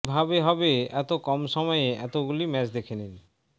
কিভাবে হবে এত কম সময়ে এতগুলি ম্যাচ দেখে নিন